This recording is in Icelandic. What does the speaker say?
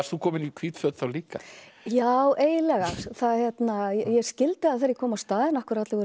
komin í hvít föt líka já eiginlega ég skildi það þegar ég kom á staðinn af hverju allir voru